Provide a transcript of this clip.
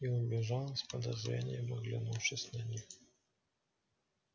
и убежала с подозрением оглянувшись на них